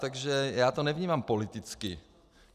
Takže já to nevnímám politicky.